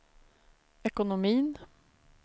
ekonomin